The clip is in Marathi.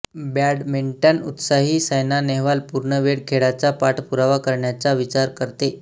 बॅडमिंटन उत्साही सायना नेहवाल पूर्ण वेळ खेळाचा पाठपुरावा करण्याचा विचार करते